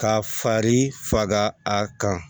Ka fari faga a kan